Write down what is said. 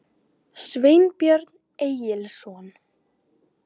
Sveinbjörn Egilsson.